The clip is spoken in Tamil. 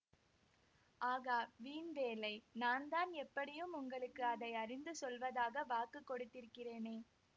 ஆகா வீண் வேலை நான்தான் எப்படியும் உங்களுக்கு அதை அறிந்து சொல்வதாக வாக்கு கொடுத்திருக்கிறேனே